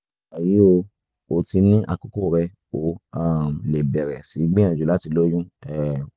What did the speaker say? wàyí o o ti ní àkókò rẹ o um lè bẹ̀rẹ̀ sí gbìyànjú láti lóyún um